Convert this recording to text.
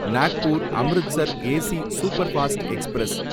Nagpur Amritsar AC superfast express